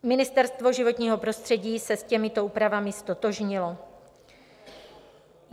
Ministerstvo životního prostředí se s těmito úpravami ztotožnilo.